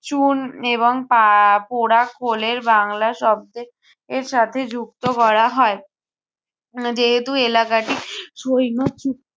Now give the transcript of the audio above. চুন এবং পা~ আহ পোড়া খোলের বাংলা শব্দে এর সাথে যুক্ত করা হয়। উহ যেহেতু এলাকাটি সৈন্য